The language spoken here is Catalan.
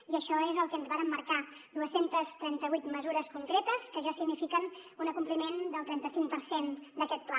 i això és el que ens vàrem marcar dos cents i trenta vuit mesures concretes que ja signifiquen un compliment del trenta cinc per cent d’aquest pla